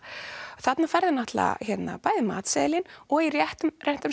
þarna færðu náttúrulega og í réttum